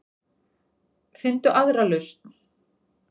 Finndu aðra lausn.